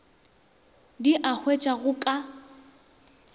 di a hwetšwa go ka